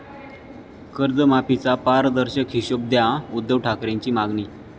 कर्जमाफीचा 'पारदर्शक' हिशेब द्या, उद्धव ठाकरेंची मागणी